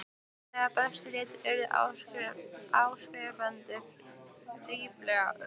Þegar best lét urðu áskrifendur ríflega